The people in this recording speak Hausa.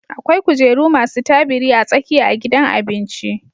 Akwai kujeru masu tabiri a tsakiya a gidan abinci